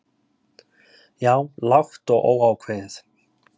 Já. lágt og óákveðið.